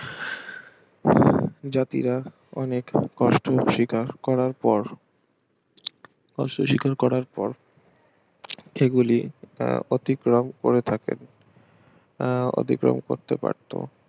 জাতিরা অনেক কষ্ট স্বীকার করার পর কষ্ট স্বীকার করার পর সেগুলি আহ অতিক্রম করে থাকেন আহ অতিক্রম করতে পারত